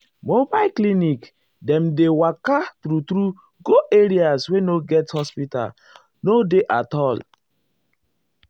mobile clinic um dem dey um waka true- true go areas wey no get hospital no dey at all.